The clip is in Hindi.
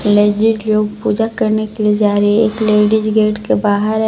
लेडीज लोग पूजा करने के लिए जा रही है एक लेडीज गेट के बाहर --